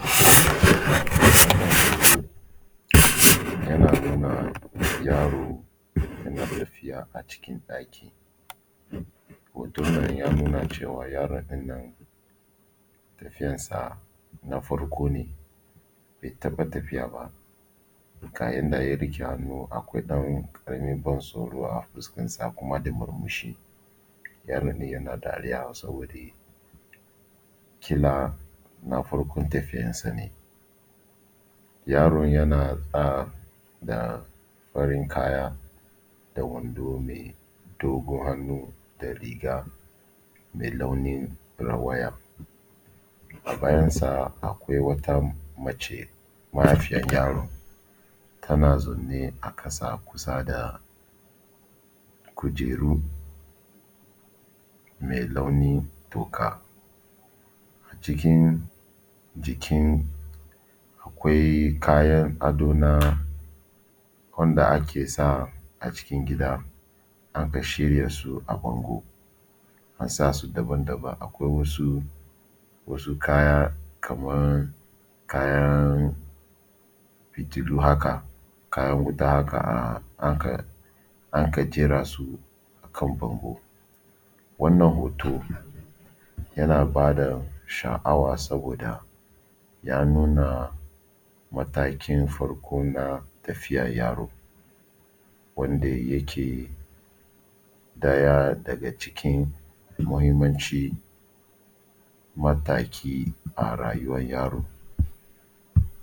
Wannan hoto yana nuna yaro yana tafiya a cikin ɗaki. Hoton nan ya nuna cewa yaro ɗin nan tafiyar sa na farko ne bai taɓa tafiya ba, ga yanda ya riƙe hannu akwai wani ɗan ƙaramin tsoro a fuskar sa kuma da murmushi ya daɗe yana dariya saboda ƙila na farkon tafiyar sa ne. Yaron yana sa da farin kaya da wando mai dogon hannu da riga mai launin rawaya. A bayan sa akwai wata mace mahaifiyar yaron tana zaune a ƙasa a kusa da kujeru mai launin toka, cikin jikin akwai kayan ado na wanda ake sa a cikin gida aka shirya su a bango a sa su daban-daban akwai wasu kaya kaman kayan fitilu haka, kayan wuta haka an ka jera su a kan bango. Wannan hoto yana bada sha’awa saboda ya nuna matakin farko na tafiyar yaro wanda yake ɗaya daga cikin muhimmancin mataki a rayuwar yaro.